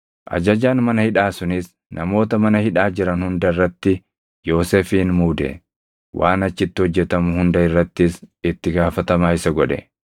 Ajajaan mana hidhaa sunis namoota mana hidhaa jiran hunda irratti Yoosefin muude; waan achitti hojjetamu hunda irrattis itti gaafatamaa isa godhe.